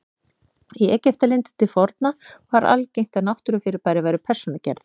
Í Egyptalandi til forna var algengt að náttúrufyrirbæri væru persónugerð.